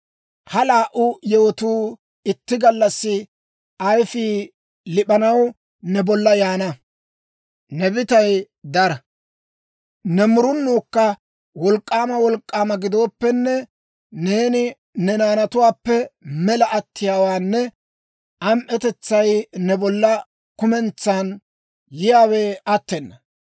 Ha laa"u yewotuu itti gallassi ayfii lip'anaw, ne bolla yaana. Ne bitay dara, ne murunuukka wolk'k'aama wolk'k'aama gidooppenne, neeni ne naanatuwaappe mela attiyaawenne am"etetsay ne bolla kumentsan yiyaawe attena.